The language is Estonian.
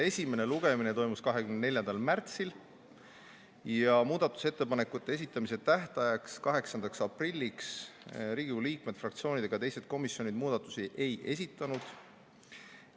Esimene lugemine toimus 24. märtsil ja muudatusettepanekute esitamise tähtajaks, 8. aprilliks Riigikogu liikmed, fraktsioonid ega teised komisjonid muudatusettepanekuid ei esitanud.